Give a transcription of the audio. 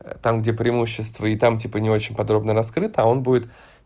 там где преимущества и там типа не очень подробно раскрыта он будет